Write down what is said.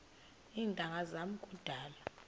iintanga zam kudala